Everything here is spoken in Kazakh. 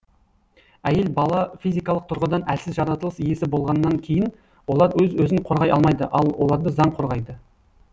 әйел бала физикалық тұрғыдан әлсіз жаратылыс иесі болғаннан кейін олар өз өзін қорғай алмайды ал оларды заң қорғайды